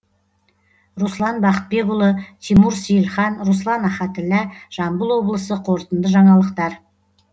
руслан бақытбекұлы тимур сейілхан руслан ахатіллә жамбыл облысы қорытынды жаңалықтар